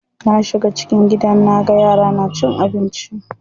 Na shiga cikin gidan naga yaran na cin abinci.